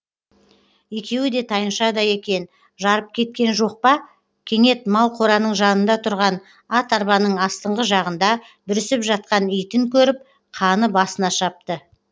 екеуі де тайыншадай екен жарып кеткен жоқ па кенет мал қораның жанында тұрған ат арбаның астыңғы жағында бүрісіп жатқан итін көріп қаны басына шапты